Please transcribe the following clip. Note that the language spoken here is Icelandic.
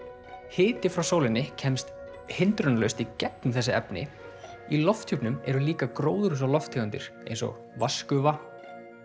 hiti frá sólinni kemst hindrunarlaust í gegnum þessi efni í lofthjúpnum eru líka gróðurhúsalofttegundir eins og vatnsgufa